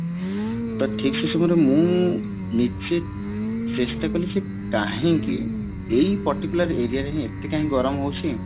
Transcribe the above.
ତା ଠିକ ସେଇ ସମୟରେ ମୁଁ ନିଜେ ଚେଷ୍ଟା କଲି ସେ କାହିଁକି ଏଇ particular area ରେ ହିଁ ଏତେ କାଇଁ ଗରମ ହୋଉଚି